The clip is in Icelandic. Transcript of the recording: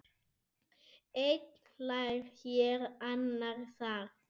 Einn hlær hér, annar þar.